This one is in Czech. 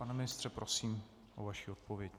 Pane ministře, prosím o vaši odpověď.